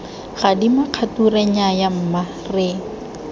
gadima kgature nnyaya mma re